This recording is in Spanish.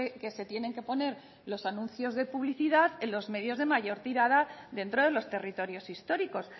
que se tienen que poner los anuncios de publicidad en los medios de mayor tirada dentro de los territorios históricos